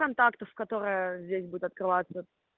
контакты с которая здесь будет открываться